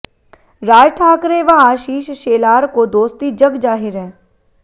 राज ठाकरे व आशिष शेलार को दोस्ती जग जाहिर है